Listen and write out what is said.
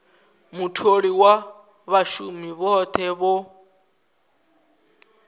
mutholi na vhashumi vhothe vho